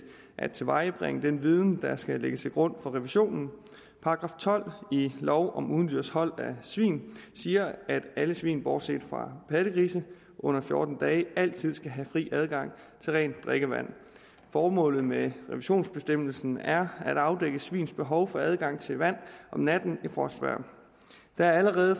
at tilvejebringe den viden der skal ligge til grund for revisionen § tolv i lov om udendørs hold af svin siger at alle svin bortset fra pattegrise under fjorten dage altid skal have fri adgang til rent drikkevand formålet med revisionsbestemmelsen er at afdække svins behov for adgang til vand om natten i frostvejr der er allerede